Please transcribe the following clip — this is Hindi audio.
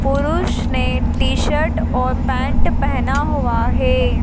पुरुष ने टी शर्ट और पैन्ट पहना हुआ हैं।